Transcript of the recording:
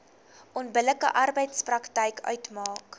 onbillike arbeidspraktyk uitmaak